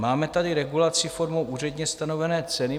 Máme tady regulaci formou úředně stanovené ceny.